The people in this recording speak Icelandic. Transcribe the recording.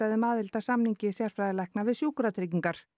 um aðild að samningi sérfræðilækna við Sjúkratryggingar